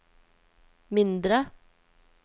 mindre